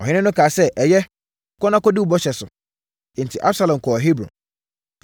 Ɔhene no kaa sɛ, “Ɛyɛ, kɔ na kɔdi wo bɔhyɛ so.” Enti, Absalom kɔɔ Hebron.